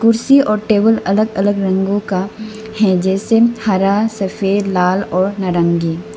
कुर्सी और टेबुल अलग अलग रंगों का हैं जैसे हरा सफेद लाल और नारंगी।